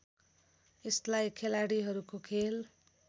यसलाई खेलाड़ीहरूको खेल